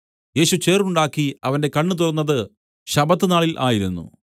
യേശു ചേറുണ്ടാക്കി അവന്റെ കണ്ണ് തുറന്നത് ശബ്ബത്ത് നാളിൽ ആയിരുന്നു